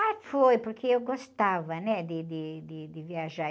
Ah, foi, porque eu gostava, né, de, de, de, de viajar.